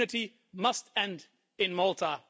Impunity must end in Malta.